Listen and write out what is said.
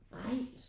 Ej